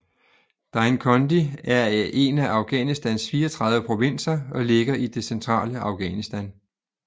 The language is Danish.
Dainkondi er en af Afghanistans 34 provinser og ligger i det centrale Afghanistan